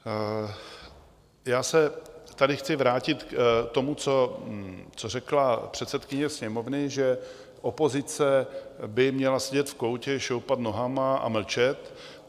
Já se tady chci vrátit k tomu, co řekla předsedkyně Sněmovny, že opozice by měla sedět v koutě, šoupat nohama a mlčet.